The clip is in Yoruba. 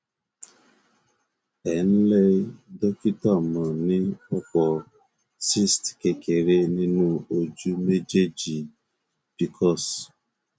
ẹ ǹlẹ dókítà mo ní ọpọ cysts kékeré nínú ojú méjèèjì pcos